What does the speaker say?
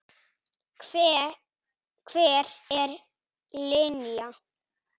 Hver er Linja?